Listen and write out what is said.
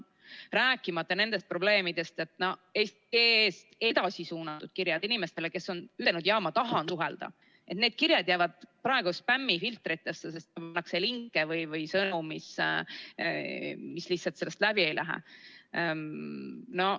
Rääkimata nendest probleemidest, et eesti.ee‑st edasi suunatud kirjad, kui inimene on ütelnud, et jaa, ma tahan suhelda, jäävad spämmifiltrisse, sest sinna pannakse linke või sõnu, mis lihtsalt sellest läbi ei lähe.